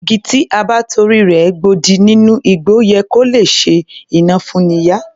Igi tí a bá torí rẹ̀ gbodì nínú igbó yẹ kó lè ṣe iná fún'ni yá